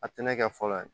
A tɛ ne kɛ fɔlɔ yɛrɛ